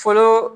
Fɔlɔ